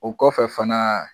O kɔfɛ fana